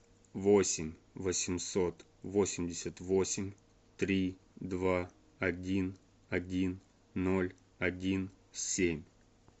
восемь восемьсот восемьдесят восемь три два один один ноль один семь